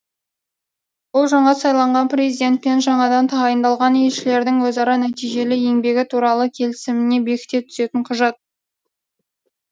бұл жаңа сайланған президент пен жаңадан тағайындалған елшілердің өзара нәтижелі еңбегі туралы келісімін бекіте түсетін құжат